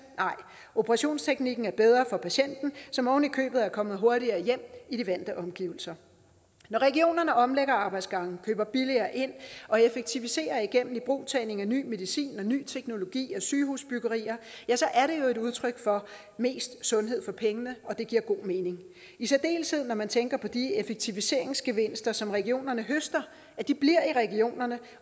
nej operationsteknikken er bedre for patienten som oven i købet kommer hurtigere hjem i de vante omgivelser når regionerne omlægger arbejdsgange køber billigere ind og effektiviserer igennem ibrugtagning af ny medicin og ny teknologi og sygehusbyggerier ja så er det jo et udtryk for mest sundhed for pengene og det giver god mening i særdeleshed når man tænker på at de effektiviseringsgevinster som regionerne høster bliver i regionerne